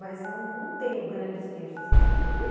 Mas não não tenho grandes queixas, assim, ele é.